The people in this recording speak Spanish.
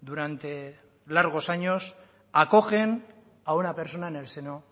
durante largos años acogen a una persona en el seno